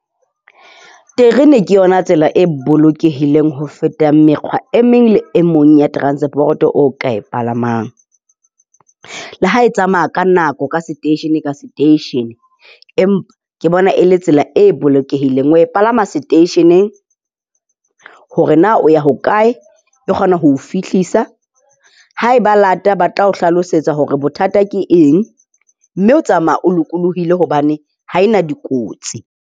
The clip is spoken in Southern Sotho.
Terene ke yona tsela e bolokehileng ho feta mekgwa e meng le e mong ya transport-o o ka e palamang. Le ha e tsamaya ka nako, ka seteishene ka seteishene, ke bona e le tsela e bolokehileng. O e palama seteisheneng hore na o ya hokae, e kgona ho o fihlisa. Haeba e late ba tla o hlalosetsa hore bothata ke eng. Mme o tsamaya o lokolohile hobane ha e na dikotsi.